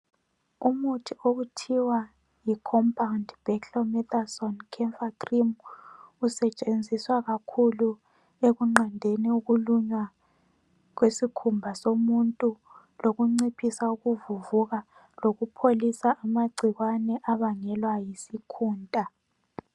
Umuthi okuthiwa yi compound beclomethosone camphor cream , usetshenziswa kakhulu ekunqandeni ukulunywa kwesikhumba somuntu lokunciphisa ukuvuvuka lokupholisa amagcikwane abangelwa yisikhunta